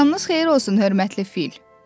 Axşamınız xeyir olsun, hörmətli fil.